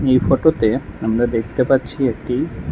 এটি ফটোতে আমরা দেখতে পাচ্ছি একটি--